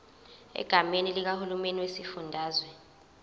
egameni likahulumeni wesifundazwe